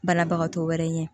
Banabagatɔ wɛrɛ ɲɛ